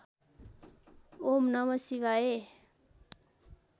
ॐ नम शिवाय